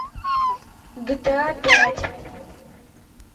гта пять